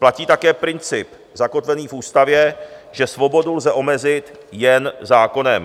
Platí také princip zakotvený v ústavě, že svobodu lze omezit jen zákonem.